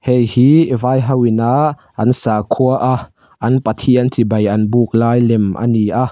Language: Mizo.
heihi vai hoin a an sakhua a an pathian chibai an buk lai lem ani a.